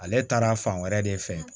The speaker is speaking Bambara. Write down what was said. Ale taara fan wɛrɛ de fɛ